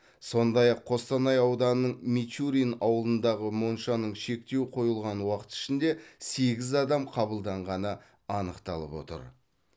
сондай ақ қостанай ауданының мичурин ауылындағы моншаның шектеу қойылған уақыт ішінде сегіз адам қабылданғаны анықталып отыр